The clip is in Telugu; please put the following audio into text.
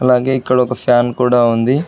అలాగే ఇక్కడ ఒక ఫ్యాన్ కూడా ఉంది.